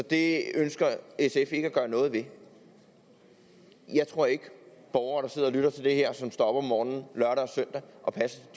det ønsker sf ikke at gøre noget ved jeg tror ikke at borgere der sidder og lytter til det her og som står op om morgenen lørdag og søndag og passer